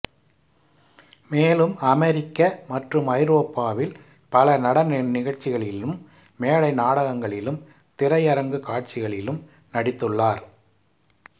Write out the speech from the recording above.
மேலும் அமெரிக்க மற்றும் ஐரோப்பாவில் பல நடன நிகழ்ச்சிகளிலும் மேடை நாடகங்களிலும் திரையரங்கு காட்சிகளிலும் நடித்துள்ளார்